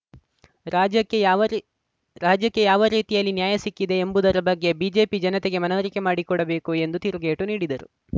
ರಾಜ್ಯಕ್ಕೆ ಯಾವ ರೀ ರಾಜ್ಯಕ್ಕೆ ಯಾವ ರೀತಿಯಲ್ಲಿ ನ್ಯಾಯ ಸಿಕ್ಕಿದೆ ಎಂಬುದರ ಬಗ್ಗೆ ಬಿಜೆಪಿ ಜನತೆಗೆ ಮನವರಿಕೆ ಮಾಡಿಕೊಡಬೇಕು ಎಂದು ತಿರುಗೇಟು ನೀಡಿದರು